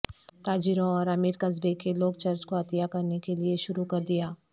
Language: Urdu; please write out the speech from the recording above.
تاجروں اور امیر قصبے کے لوگ چرچ کو عطیہ کرنے کے لئے شروع کر دیا